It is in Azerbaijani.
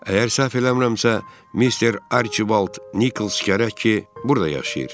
Əgər səhv eləmirəmsə, Mister Archibald Nikols gərək ki, burada yaşayır.